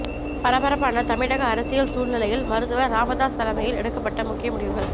பரபரப்பான தமிழக அரசியல் சூழ்நிலையில் மருத்துவர் ராமதாஸ் தலைமையில் எடுப்பட்ட முக்கிய முடிவுகள்